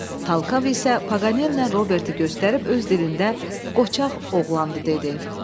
Talkav isə Paganellə Roberti göstərib öz dilində qoçaq oğlandı dedi.